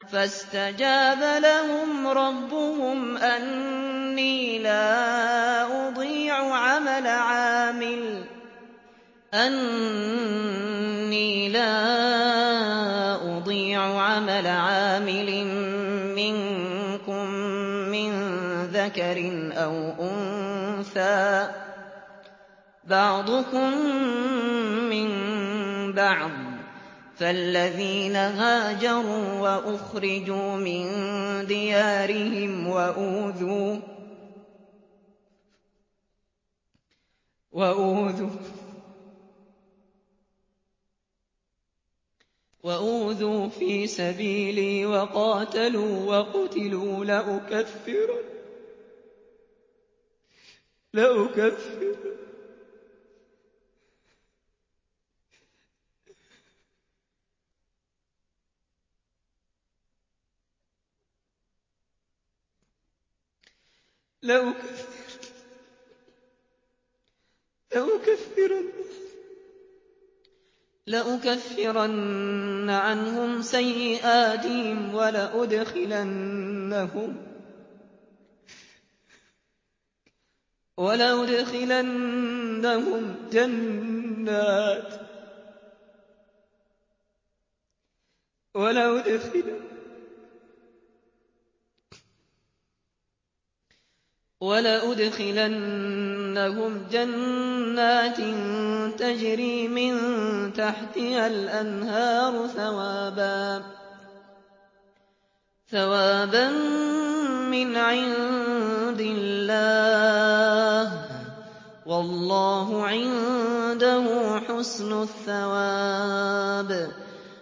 فَاسْتَجَابَ لَهُمْ رَبُّهُمْ أَنِّي لَا أُضِيعُ عَمَلَ عَامِلٍ مِّنكُم مِّن ذَكَرٍ أَوْ أُنثَىٰ ۖ بَعْضُكُم مِّن بَعْضٍ ۖ فَالَّذِينَ هَاجَرُوا وَأُخْرِجُوا مِن دِيَارِهِمْ وَأُوذُوا فِي سَبِيلِي وَقَاتَلُوا وَقُتِلُوا لَأُكَفِّرَنَّ عَنْهُمْ سَيِّئَاتِهِمْ وَلَأُدْخِلَنَّهُمْ جَنَّاتٍ تَجْرِي مِن تَحْتِهَا الْأَنْهَارُ ثَوَابًا مِّنْ عِندِ اللَّهِ ۗ وَاللَّهُ عِندَهُ حُسْنُ الثَّوَابِ